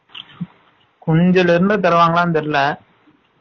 குஞ்சுல இருந்து தருவாங்கலா தெரியல